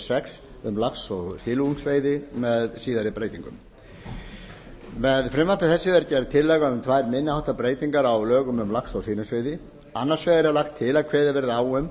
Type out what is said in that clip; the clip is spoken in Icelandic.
sex um lax og silungsveiði með síðari breytingum með frumvarpi þessu er gerð tillaga um tvær minni háttar breytingar á lögum um lax og silungsveiði annars vegar er lagt til að kveðið verði á um